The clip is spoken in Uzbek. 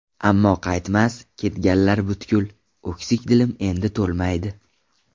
Ammo qaytmas, ketganlar butkul, O‘ksik dilim endi to‘lmaydi.